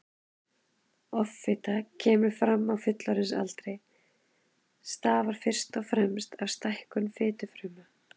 Offita sem kemur fram á fullorðinsaldri stafar fyrst og fremst af stækkun fitufrumna.